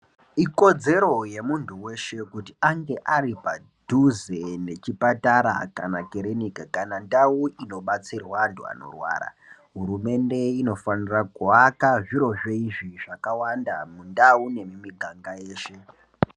Ikodzero yemuntu veshe kuti ange ari paduze nechipatara kana kirinika kana ndau inobatsirwa antu anorwara. Hurumende inofanira kuaka zvirozvo izvi zvakawanda mundau nemumiganga yeshe.